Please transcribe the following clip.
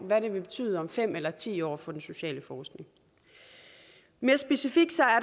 hvad det vil betyde om fem eller ti år for den sociale forskning mere specifikt